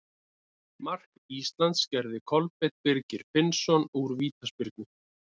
Mark Íslands gerði Kolbeinn Birgir Finnsson úr vítaspyrnu.